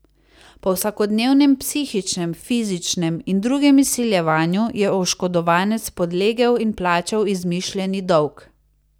Po vsakodnevnem psihičnem, fizičnem in drugem izsiljevanju je oškodovanec podlegel in plačal izmišljeni dolg.